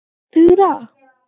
Þura